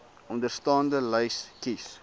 onderstaande lys kies